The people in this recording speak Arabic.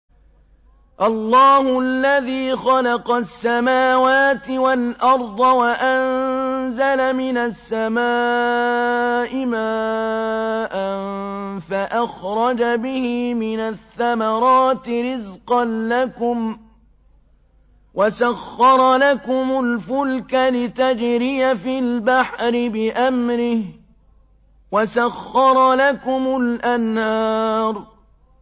اللَّهُ الَّذِي خَلَقَ السَّمَاوَاتِ وَالْأَرْضَ وَأَنزَلَ مِنَ السَّمَاءِ مَاءً فَأَخْرَجَ بِهِ مِنَ الثَّمَرَاتِ رِزْقًا لَّكُمْ ۖ وَسَخَّرَ لَكُمُ الْفُلْكَ لِتَجْرِيَ فِي الْبَحْرِ بِأَمْرِهِ ۖ وَسَخَّرَ لَكُمُ الْأَنْهَارَ